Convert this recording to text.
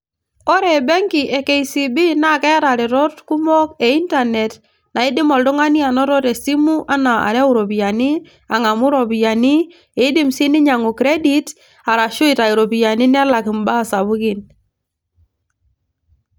ore benki e KCB naa keeta iretot kumok e internet naidim oltung'ani anoto tesimu enaa arew iropiyiani, ang'amu iropiyiani iidim sii niny'angu credit arashu itayu iropiyiani nelak imbaa sapukin.